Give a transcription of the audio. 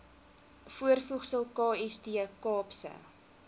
voorvoegsel kst kaapse